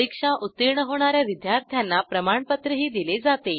परीक्षा उत्तीर्ण होणा या विद्यार्थ्यांना प्रमाणपत्रही दिले जाते